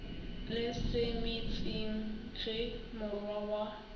le semetsing ge morwa wa